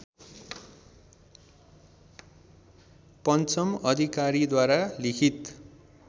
पञ्चम अधिकारीद्वारा लिखित